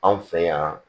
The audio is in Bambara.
Anw fɛ yan